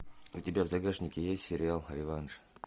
у тебя в загашнике есть сериал реванш